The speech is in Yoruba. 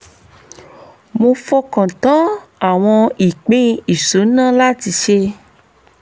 mo fọkàn tán àwọn ìpín ìṣúná láti ṣe